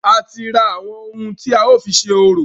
A ti ra àwọn ohun tí a ó fi ṣe orò.